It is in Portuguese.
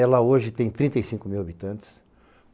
Ela hoje tem trinta e cinco mil habitantes.